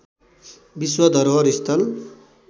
विश्व धरोहर स्थल